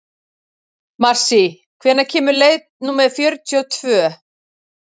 Marsý, hvenær kemur leið númer fjörutíu og tvö?